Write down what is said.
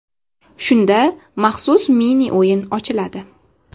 Shunda maxsus mini-o‘yin ochiladi.